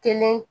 Kelen